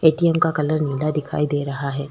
ATM का colour नीला दिखाई दे रहा है।